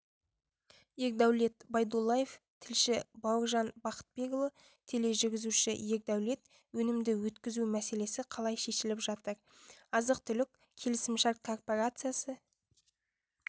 ердәулет байдуллаев тілші бауыржан бақытбекұлы тележүргізуші ердәулет өнімді өткізу мәселесі қалай шешіліп жатыр азық-түлік келісімшарт корпорациясы